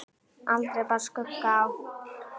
Aldrei bar skugga á.